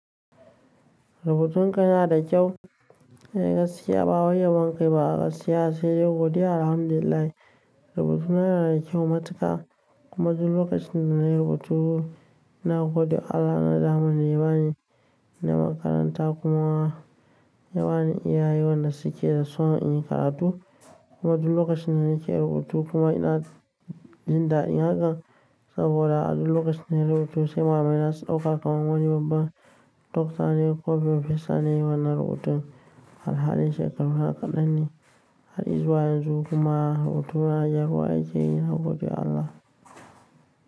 Rubutun ka yana da kyau. Ai, gaskiya ba way yabankai ba. A gaskiya sai yau gobe alhamdulillah rubutuna yana da kyau matuka. Kuma duk lokacin da na rubutu, na gode Allah na da damar da yawa ne na makaranta kuma yawa ne iyaye waɗanda suke da son in yi karatu. Kuma duk lokacin na yake rubutu kuma ina jin daɗi hakan. Saboda a duk lokacin da na rubutu sai malalaina su ɗauka kamar wani babban doktane ko farfesa ne ye wannan rubutun alhalin shekaru kadanne ne har izuwan yanzu kuma rubutuna gyaruwa yakeyi na gode Allah.